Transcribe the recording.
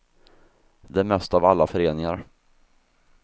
Det är mest av alla föreningar.